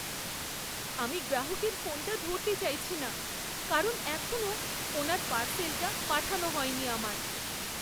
আমি গ্রাহকের ফোনটা ধরতে চাইছি না কারণ এখনও ওনার পার্সেলটা পাঠানো হয়নি আমার।